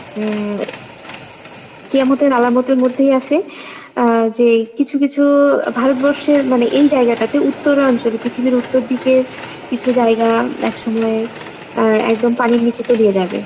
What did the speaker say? উম কিয়ামতের আলামতের মধ্যেই আছে আহ যেই কিছু কিছু ভারতবর্ষের মানে এই জায়গাটাতে উত্তরাঞ্চলে পৃথিবীর উত্তরদিকে কিছু জায়গা একসময় আহ একদম পানির নিচে তলিয়ে যাবে।